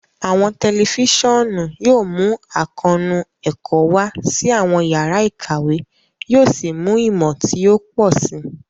Awọn tẹlifisiọnu yóò mú àkóónú ẹkọ wa sí awọn yàrá ìkàwé, yóò sì mú ìmọ ti o pọ si.